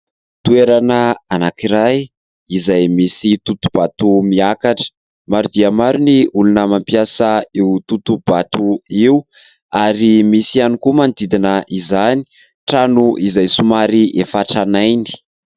Toerana anankiray izay misy totoha-bato miakatra. Maro dia maro ny olona mampiasa io totoha-bato io ary misy ihany koa manodidina izany trano izay somary efa tranainy.